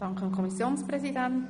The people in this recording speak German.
Ich danke dem Kommissionssprecher.